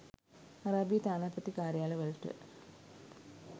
අරාබියේ තානාපති කාර්යාලවලට